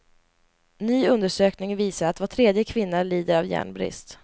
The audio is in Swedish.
Ny undersökning visar att var tredje kvinna lider av järnbrist.